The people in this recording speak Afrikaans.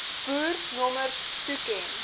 boer nommers toeken